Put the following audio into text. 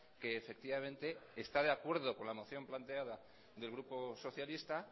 que efectivamente esta de acuerdo con la moción planteada del grupo socialista